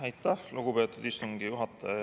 Aitäh, lugupeetud istungi juhataja!